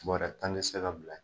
Bɔrɛ tan ti se ka bila .